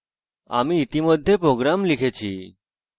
আমি ইতিমধ্যে program লিখেছি